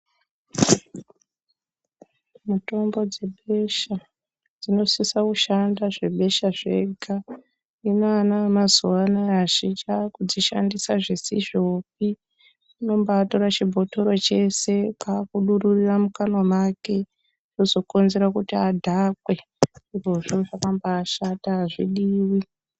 Mitombo dzebesha, dzinosisa kushanda zvebesha zvega, hino ana emazuwaanaya azhinji akudzishandisa zvisizvopi, anombatora chibhotoro cheshe kwakudururira mukanwa make, zvozokonzera kuti adhakwe, izvozvo zvakambashata azvidiwi.